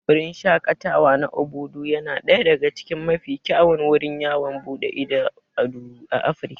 Wurin shaƙatawa na Obudu yana daya daga cikin mafi kyawun wurin yawon buɗe ido a Afirka.